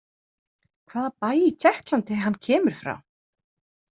Hvaða bæ í Tékklandi hann kemur frá?